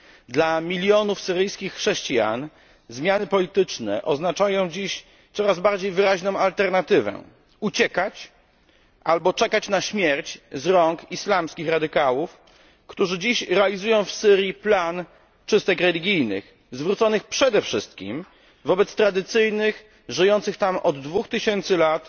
Dla milionów syryjskich chrześcijan zmiany polityczne oznaczają dziś coraz wyraźniejszą alternatywę uciekać albo czekać na śmierć z rąk islamskich radykałów, którzy dziś realizują w Syrii plan czystek religijnych, zwróconych przede wszystkim przeciwko tradycyjnym, żyjącym tam od 2000 lat